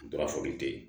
Dɔra foli te ye